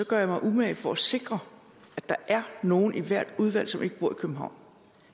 gør jeg mig umage for at sikre at der er nogle i hvert udvalg som ikke bor i københavn